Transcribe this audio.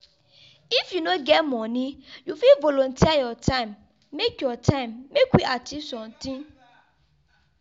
if you no get money you fit volunteer your time make your time make we achieve sometin.